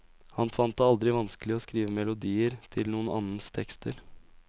Han fant det aldri vanskelig å skrive melodier til noen annens tekster.